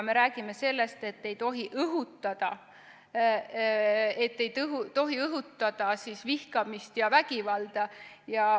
Me räägime sellest, et ei tohi õhutada vihkamist ja vägivalda.